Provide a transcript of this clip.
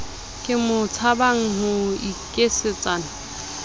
ke mo tshabang ho nkgisetsana